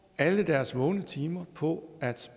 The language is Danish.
alle deres vågne timer på at